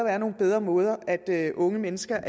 er nogle bedre måder unge mennesker